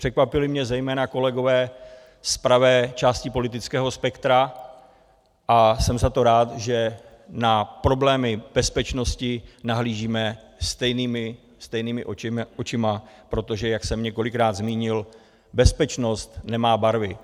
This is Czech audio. Překvapili mě zejména kolegové z pravé části politického spektra a jsem za to rád, že na problémy bezpečnosti nahlížíme stejnýma očima, protože jak jsem několikrát zmínil, bezpečnost nemá barvy.